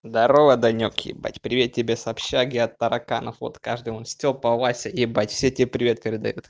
здорово данек ебать привет тебе с общаги от тараканов вот каждому стёпа вася ебать все тебе привет передают